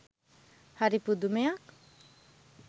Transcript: හරි පුදුමයක්